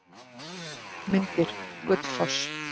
Myndir: Gullfoss.